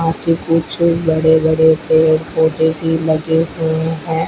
आगे कुछ बड़े बड़े पेड़ पौधे भी लगे हुए हैं।